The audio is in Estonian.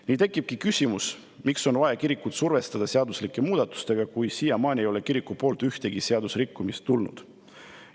Nii tekibki küsimus, miks on vaja kirikut survestada seadusemuudatustega, kui siiamaani ei ole kiriku poolt ühtegi seaduserikkumist tulnud.